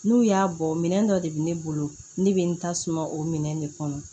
N'u y'a bɔ minɛn dɔ de bɛ ne bolo ne bɛ n ta suma o minɛn de kɔnɔ